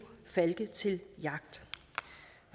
falke til jagt